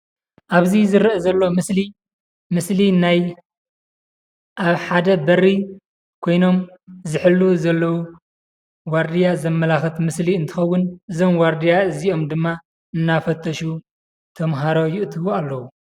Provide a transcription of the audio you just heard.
ኣብዚ ዝርአ ዘሎ ምስሊ ምስሊ ናይ ኣብ ሓደ በሪ ኮይኖም ዝሕልዉ ዘለዉ ዋርድያ ዘመላኽት ምስሊ እንትኸዉን እዞም ዋርድያ እዚኦም ድማ እናፈተሹ ተምሃሮ የእትዉ ኣለዉ።